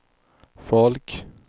folk